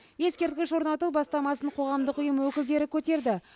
ескерткіш орнату бастамасын қоғамдық ұйым өкілдері көтерді